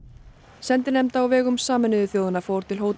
sendinefnd á vegum Sameinuðu þjóðanna fór til